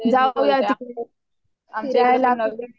जाऊया तिकडे फिरायला